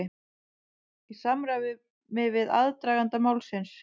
Í samræmi við aðdraganda málsins